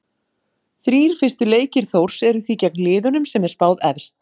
Þrír fyrstu leikir Þórs eru því gegn liðunum sem er spáð efst.